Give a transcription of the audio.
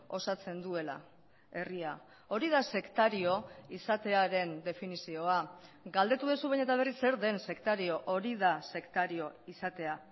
osatzen duela herria hori da sektario izatearen definizioa galdetu duzu behin eta berriz zer den sektario hori da sektario izatea